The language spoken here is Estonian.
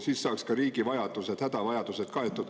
Siis saaks ka riigi vajadused, hädavajadused kaetud.